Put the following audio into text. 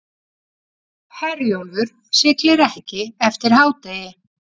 Herjólfur siglir ekki eftir hádegi